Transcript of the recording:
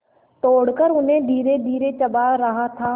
तोड़कर उन्हें धीरेधीरे चबा रहा था